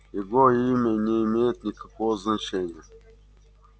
его имя не имеет никакого значения